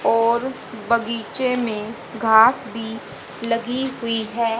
और बगीचे में घास भी लगी हुई है।